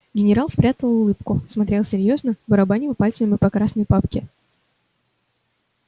генерал спрятал улыбку смотрел серьёзно барабанил пальцами по красной папке